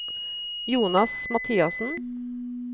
Jonas Mathiassen